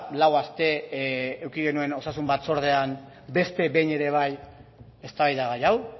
lau aste eduki genuen osasun batzordean beste behin ere bai eztabaidagai hau